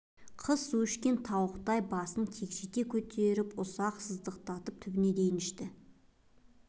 қыз су ішкен тауықтай басын кекжиіте көтеріп ұзақ сыздықтатып түбіне дейін ішті